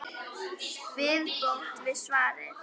Viðbót við svarið